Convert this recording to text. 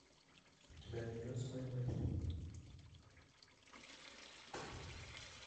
у тебя найдется моя мать